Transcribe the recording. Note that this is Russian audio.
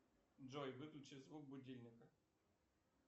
джой выключи звук будильника